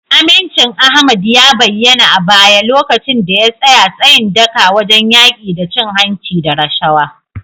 Amincin Ahmad ya bayyana a baya lokacin da ya tsaya tsayin daka wajen yaki da cin hanci da rashawa.